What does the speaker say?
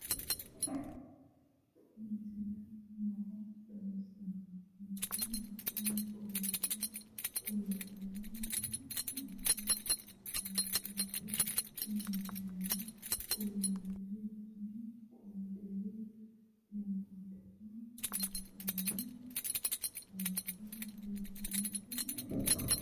tini misile maa xawissannoro mito mittonkaricho kulummoro tini addi addicoy amaddinote tini misileno kultannori tini kolderi limateno leeltanno hayiso biiffannotino no